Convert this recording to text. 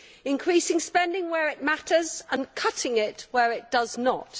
increasing spending where it matters and cutting it where it does not.'